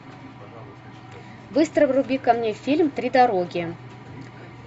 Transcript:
быстро вруби ка мне фильм три дороги